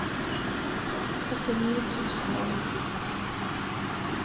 førtini tusen og nittiseks